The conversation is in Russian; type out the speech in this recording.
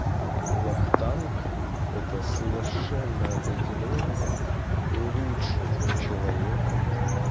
вахтанг это совершенно определённо лучший человек